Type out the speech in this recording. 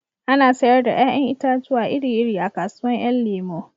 Ana sayar da 'ya'yan itatuwa iri iri a kasuwan 'yan lemo